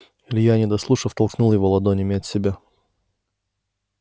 илья не дослушав толкнул его ладонями от себя